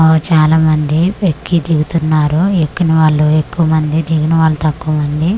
ఆ చాలా మంది ఎక్కి దిగుతున్నారు ఎక్కని వాళ్ళు ఎక్కువమంది దిగిన వాళ్ళు తక్కువ మంది.